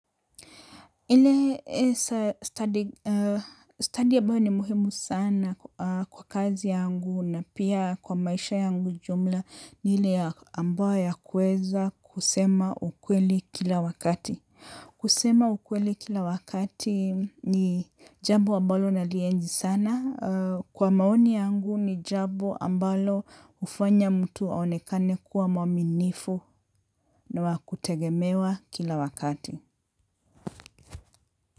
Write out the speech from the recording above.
Ile standi ambayo ni muhimu sana kwa kazi yangu na pia kwa maisha yangu jumla ni ile ambayo ya kuweza kusema ukweli kila wakati. Kusema ukweli kila wakati ni jambo ambalo nalienzi sana. Kwa maoni yangu ni jambo ambalo hufanya mtu aonekane kuwa mwaminifu na wakutegemewa kila wakati.